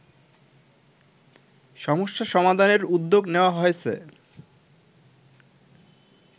সমস্যা সমাধানের উদ্যোগ নেয়া হয়েছে